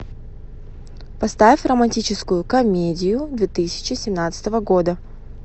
поставь романтическую комедию две тысячи семнадцатого года